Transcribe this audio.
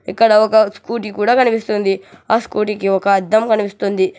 ఇక్కడ ఒక స్కూటీ కూడా కనిపిసస్తుంది ఆ స్కూటీ కి ఒక అద్దం కనిపిస్తుంది.